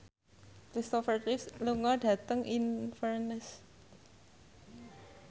Kristopher Reeve lunga dhateng Inverness